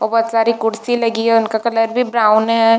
ओ बहोत सारी कुर्सी लगी है उनका कलर भी ब्राउन है।